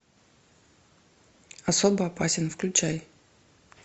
особо опасен включай